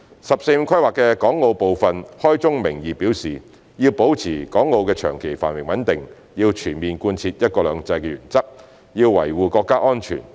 "十四五"規劃的港澳部分開宗明義表示要保持港澳的長期繁榮穩定，要全面貫徹"一國兩制"的原則，要維護國家安全。